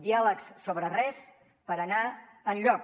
diàlegs sobre res per anar enlloc